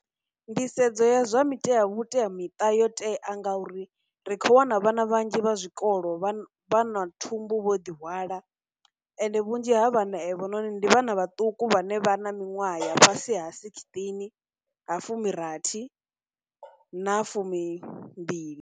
Nḓisedzo ya zwa mitea vhuteamiṱa yo tea ngauri ri khou wana vhana vhanzhi vha zwikolo vha vha na thumbu vho ḓi hwala, ende vhunzhi ha vhana evhononi ndi vhana vhaṱuku vhane vha na miṅwaha ya fhasi ha sixteen, ha fumi rathi na fumimbili.